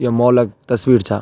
यो मोहल्ला क तस्वीर चा।